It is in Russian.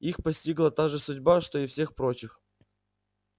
их постигла та же судьба что и всех прочих